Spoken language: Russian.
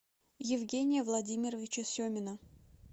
евгения владимировича семина